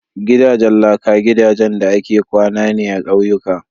Gidajen laka gidajen da ake kwana ne a ƙauyuka.